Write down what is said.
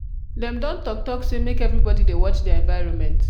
dem don talk talk say make everybodi dey watch their environment.